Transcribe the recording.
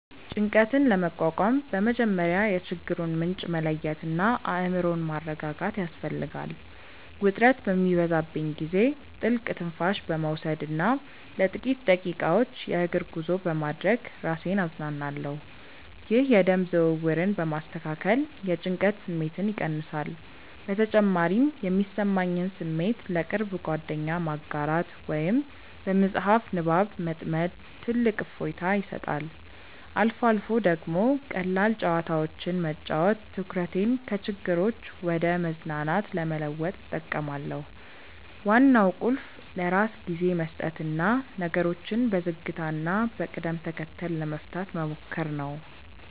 ጭንቀትን ለመቋቋም በመጀመሪያ የችግሩን ምንጭ መለየትና አእምሮን ማረጋጋት ያስፈልጋል። ውጥረት በሚበዛብኝ ጊዜ ጥልቅ ትንፋሽ በመውሰድና ለጥቂት ደቂቃዎች የእግር ጉዞ በማድረግ ራሴን አዝናናለሁ። ይህ የደም ዝውውርን በማስተካከል የጭንቀት ስሜትን ይቀንሳል። በተጨማሪም የሚሰማኝን ስሜት ለቅርብ ጓደኛ ማጋራት ወይም በመጽሐፍ ንባብ መጥመድ ትልቅ እፎይታ ይሰጣል። አልፎ አልፎ ደግሞ ቀላል ጨዋታዎችን መጫወት ትኩረቴን ከችግሮች ወደ መዝናናት ለመለወጥ እጠቀማለሁ። ዋናው ቁልፍ ለራስ ጊዜ መስጠትና ነገሮችን በዝግታና በቅደም ተከተል ለመፍታት መሞከር ነው።